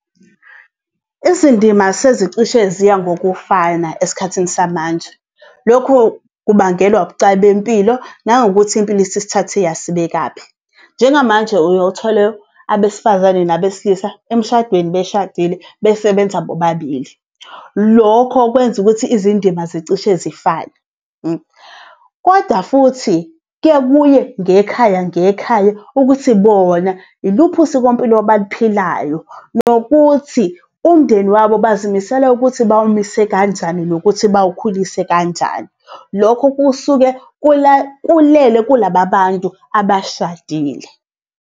Izindima sezicishe ziya ngokufana esikhathini samanje, lokhu kubangelwa ubucayi bempilo nangokuthi impilo isisithathe yasibekaphi. Njengamanje uye uthole abesifazane nabesilisa emshadweni beshadile besebenza bobabili. Lokho kwenza ukuthi izindima zicishe zifane . Koda futhi kuyaye kuye ngekhaya ngekhaya ukuthi bona iluphi usikompilo abaluphilayo nokuthi umndeni wabo bazimisele ukuthi bawumise kanjani, nokuthi bawukhulise kanjani. Lokho kusuke kulele kulaba bantu abashadile.